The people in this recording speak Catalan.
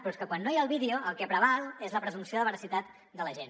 però és que quan no hi ha el vídeo el que preval és la presumpció de veracitat de l’agent